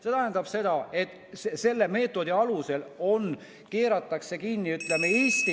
See tähendab seda, et selle meetodi alusel keeratakse kinni Eesti ...